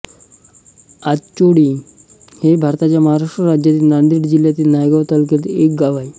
आंचोळी हे भारताच्या महाराष्ट्र राज्यातील नांदेड जिल्ह्यातील नायगाव तालुक्यातील एक गाव आहे